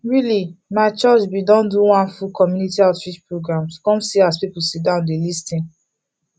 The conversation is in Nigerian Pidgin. really my church been do one full community outreach programs come see as people sit down dey lis ten